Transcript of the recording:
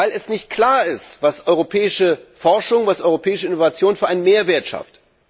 Weil nicht klar ist, was europäische Forschung, was europäische Innovation für einen Mehrwert schafft.